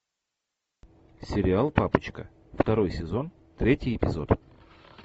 сериал папочка второй сезон третий эпизод